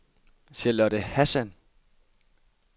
Charlotte Hassan